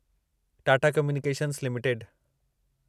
Tata communications limited